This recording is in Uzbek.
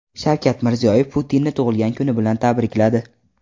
Shavkat Mirziyoyev Putinni tug‘ilgan kuni bilan tabrikladi.